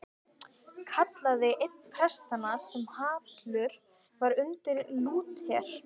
kallaði einn prestanna sem hallur var undir Lúter.